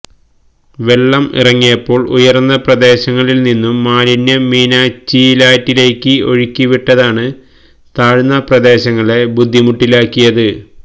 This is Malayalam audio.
വെള്ളം ഇറങ്ങിയപ്പോള് ഉയര്ന്ന പ്രദേശങ്ങളില് നിന്നും മാലിന്യം മീനച്ചിലാറ്റിലേക്ക് ഒഴിക്കി വിട്ടതാണ് താഴ്ന്ന പ്രദേശങ്ങളെ ബുദ്ധിമുട്ടിലാക്കിയത്